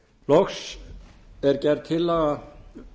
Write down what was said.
loks er gerð tillaga